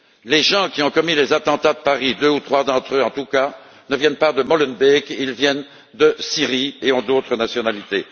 Les gens qui ont commis les attentats de Paris, deux ou trois d'entre eux, en tout cas, ne viennent pas de Molenbeek, ils viennent de Syrie et ont d'autres nationalités.